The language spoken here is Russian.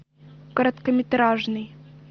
короткометражный